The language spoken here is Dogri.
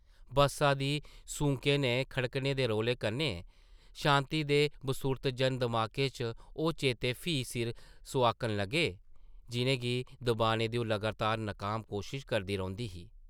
बस्सा दी सूंकें ते खड़कने दे रौले कन्नै शांति दे बसुर्त जन दमाकै च ओह् चेते फ्ही सिर सोआकन लगे, जिʼनें गी दबाने दी ओह् लगातार नकाम कोशश करदी रौंह्दी ही ।